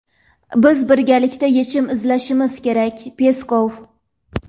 Biz birgalikda yechim izlashimiz kerak – Peskov.